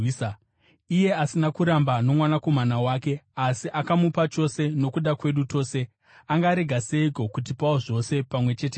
Iye asina kuramba noMwanakomana wake, asi akamupa chose nokuda kwedu tose, angarega seiko kutipawo zvose, pamwe chete naye?